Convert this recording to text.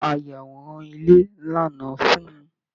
Ìmọ ayàwòrán ilé lànà fún-ùn.